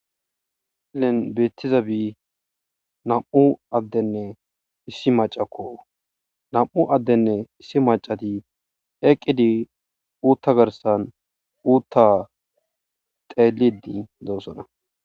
Misilen beettizabi nam7u addenne issi maccako. Nam7u addeyinne issi maccay eqqidi uutta garsan uutta xeellidi doosona .